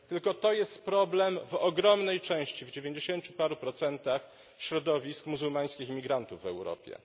Tylko to jest problem w ogromnej części, w dziewięćdziesięciu paru procentach, środowisk muzułmańskich imigrantów w Europie.